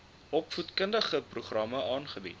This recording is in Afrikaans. opvoedkundige programme aanbied